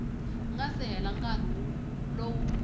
nga si hela nkarhi lowu